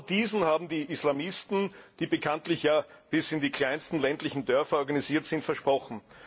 Und genau diesen haben die Islamisten, die bekanntlich ja bis in die kleinsten ländlichen Dörfer organisiert sind, versprochen.